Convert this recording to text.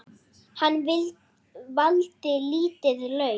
Hann valdi lítið lauf.